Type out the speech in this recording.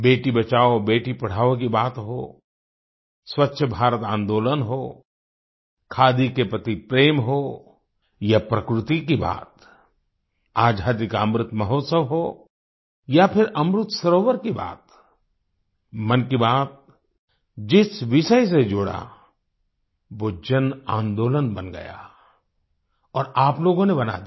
बेटीबचाओ बेटीपढ़ाओ की बात हो स्वच्छ भारत आन्दोलन हो खादी के प्रति प्रेम हो या प्रकृति की बात आजादी का अमृत महोत्सव हो या फिर अमृत सरोवर की बात मन की बात जिस विषय से जुड़ा वो जनआंदोलन बन गया और आप लोगों ने बना दिया